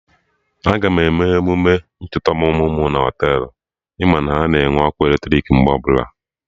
Aga m eme emume ncheta ọmụmụ mụ na Họtelụ, ị ma na ha nwere ọkụ eletrik mgbe ọbụla